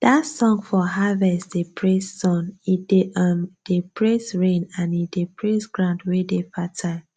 that song for harvest dey praise sun e um dey praise rain and e dey praise ground wey dey fertile